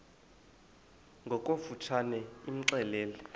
ngokofu tshane imxelele